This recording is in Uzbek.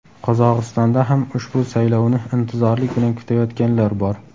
Qozog‘istonda ham ushbu saylovni intizorlik bilan kutayotganlar bor.